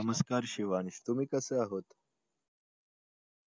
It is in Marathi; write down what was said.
नमस्कार शिवांश तुम्ही कसे आहात